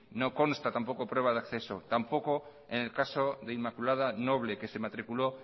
no consta tampoco prueba de acceso tampoco en el caso de inmaculada noble que se matriculó